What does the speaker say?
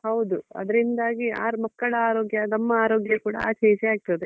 ಹೌದು ಅದ್ರಿಂದಾಗಿ ಆರು ಮಕ್ಕಳ ಆರೋಗ್ಯ ನಮ್ಮ ಆರೋಗ್ಯ ಕೂಡ ಆಚೆ ಈಚೆ ಆಗ್ತದೆ.